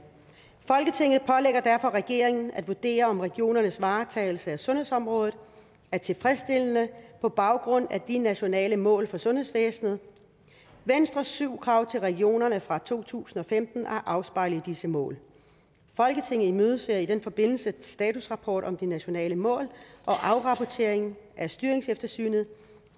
folketinget pålægger derfor regeringen at vurdere om regionernes varetagelse af sundhedsområdet er tilfredsstillende på baggrund af de nationale mål for sundhedsvæsenet venstres syv krav til regionerne fra to tusind og femten er afspejlet i disse mål folketinget imødeser i den forbindelse statusrapport om de nationale mål og afrapportering af styringseftersynet